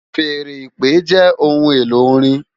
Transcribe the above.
Fèèrè ìpè jè óhùn-éló órin